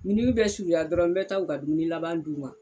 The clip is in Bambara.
miniwi bɛ surunya dɔrɔn n bɛ taa u ka dumuni laban d'u ma